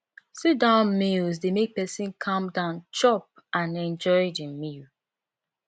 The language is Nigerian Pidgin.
sit down meals dey make person calm down chop and enjoy the meal